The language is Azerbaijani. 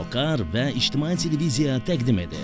Socar və İctimai Televiziya təqdim edir.